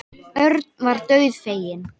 Örn varð dauðfeginn.